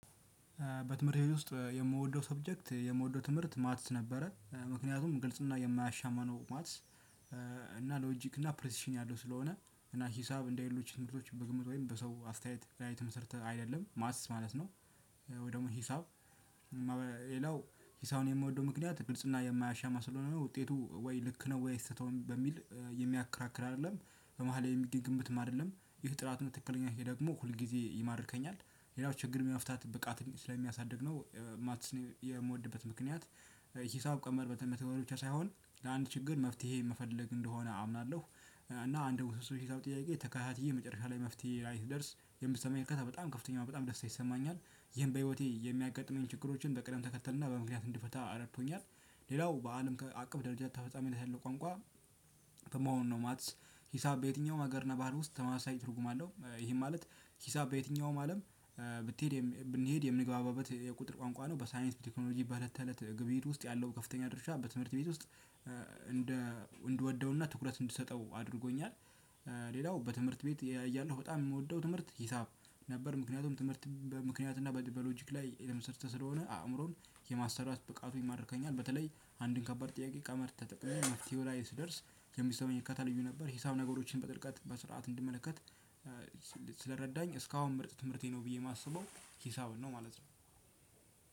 በትምህርት ቤት ውስጥ የምወደው ሳብጀክት የምወደው ትምህርት ማትስ ነበረ ምክንያቱም ግልጽ እና የማያሻማ ነው ማትስ እና ሎጂክ እና ፕሪሲሽን ያለው ስለሆነ እና ሂሳብ እንደሌሎች ትምህርቶች በግምት ወይም በሰው አስተያየት ላይ የተመስርተ አይደለም ማትስ ማለት ነው። ወይ ደግሞ ሂሳብ ሂሳብን የምወደው ምክንያት ግልጽና የማያሻማ ስለሆነ ውጤቱ ወይ ልክ ነው ወይ ስህተት ነው በሚል የሚያከራክር አይደለም በመሃል የሚገኝ ግምትም አይደለም ይመህ ጥራቱን ትክክለኛ ይሄ ደግሞ ሁል ጊዜ ይማርከኛል። ሌላው ችግር የመፍታት ብቃት ስለሚያሳድግ ነው ማትስ የምወድበት ምክንያት። ሂሳብ ቀመር በተመተወሩ ብቻ ሳይሆን ለአንድ ችግር መፍትሄ መፈለግ እንደሆነ አምናለሁ እና አንድ ውስብስብ ሂሳብ ጥያቄ ተከታትዬ መጨረሻ ላይ መፍትሄ ላይ ስደርስ የሚሰማኝ እርካታ በጣም ከፍተኛ በጣም ደስታ ይሰማኛል። ይህን በህይወቴ የሚያጋጥመኝ ችግሮችን በቅደም ተከተልና በምክንያት እንዲፈታ እረድቶኛል። ሌላው በአለም አቀፍ ደረጃ ተፈጻሚ ላይ ያለው ቋንቋ። ከመሆኑ ነው ማትስ ሂሳብ በየትኛውም ሀገር ነባር ውስጥ ተማሳይ ትርጉም አለው። ይሄ ማለት ሂሳብ በየትኛውም አለም ብትሄድ ብንሄድ የምንግባባበት የቁጥር ቋንቋ ነው። በሳይንስ በቴክኖሎጂ በለተለት ግብይት ውስጥ ያለው ከፍተኛ ድርሻ በትምህርት ቤት ውስጥ እንደ እንድወደውና ትኩረት እንድትሰጠው አድርጎኛል። ሌላው በትምህርት ቤት እያለሁ በጣም የምወደው ትምህርት ሂሳብ ነበር። ምከንያቱም ትምህርት በምክንያት እና በሎጅክ ላይ የተመሰረተ ስለሆነ አእምሮን የማሰራት ብቃቱ ይማርከኛል በተለይ አንድን ከባድ ጥያቄ ቀመር ተጠቅሜ መፍትሄው ላይ ስደርስ የሚሰማኝ እርካታ ልዩ ነበር። ሂሳብ ነገሮችን በጥልቀት በስርዓት እንድመለከት ስለረዳኝ እስካሁን ምርጥ ትምህርቴ ነው ብዬ የማስበው ሂሳብን ነው ማለት ነው።